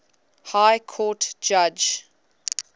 high court judge